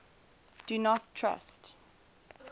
do not trust